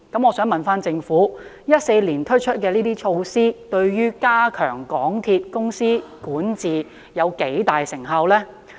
我想問政府 ，2014 年推出的這些措施，對於加強港鐵公司的管治有多大成效？